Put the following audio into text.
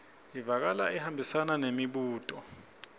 ivakala ihambisana nembuto